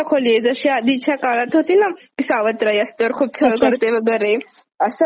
सावत्र आई असते खूप छळ करते वगैरे.. अस हि प्रतिमा पूर्ण पुसून टाकली त्यांनी.